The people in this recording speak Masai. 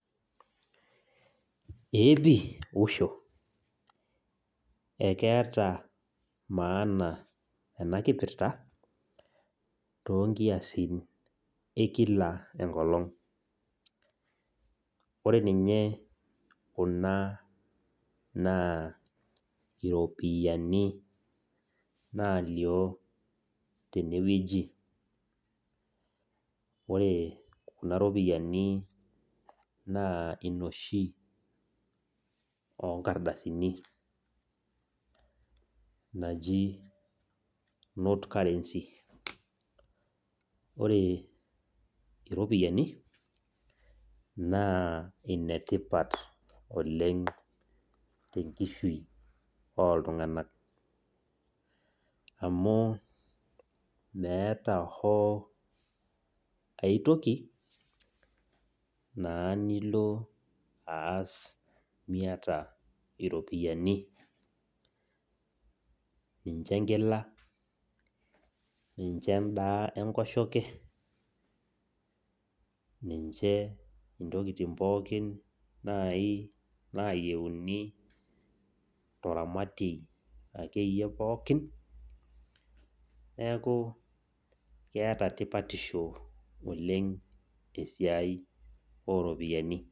Eepi , usho ! ekeeta maana enakipirta toonkiasin ekila enkolong .Ore ninye kuna naa iropiyiani nalio tenewueji ,ore kuna ropiyiani naa inoshi onkardasini naji note currency .Ore iropiyiani naa inetipat oleng tenkishui oltunganak amu meeta hoo aetoki nilo aas miata naa iropiyiani , ninche enkila , ninche endaa enkoshoke , ninche ntokitin pookin nai nayieuni nai toramatie akeyie pokin neku keeta tipatisho oleng esiai oropiyiani.